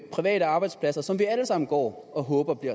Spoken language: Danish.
private arbejdspladser som vi alle sammen går og håber